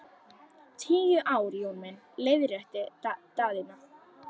Tíu ár Jón minn, leiðrétti Daðína.